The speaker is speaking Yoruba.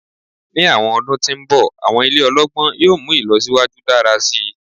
Ni awọn ọdun ti n bọ awọn ile ọlọgbọn yoo mu ilọsiwaju dara si